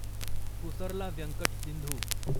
Pusarla Venkata Sindhu